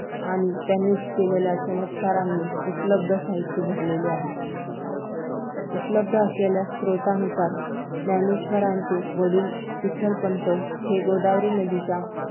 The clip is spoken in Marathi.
आणि त्यांनी केलेल्या चमत्कारांनी उपलब्ध साहित्य भरलेले आहे उपलब्ध असलेल्या स्रोतांनुसार ज्ञानेश्वरांचे वडील विठ्ठलपंत हे गोदावरी नदीच्या